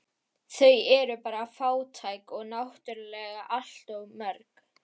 Þau eru bara fátæk og náttúrlega allt of mörg